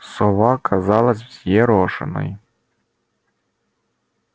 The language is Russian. сова казалась взъерошенной